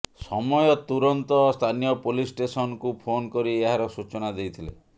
ସମୟ ତୁରନ୍ତ ସ୍ଥାନୀୟ ପୋଲିସ୍ ଷ୍ଟେସନକୁ ଫୋନ୍ କରି ଏହାର ସୂଚନା ଦେଇଥିଲେ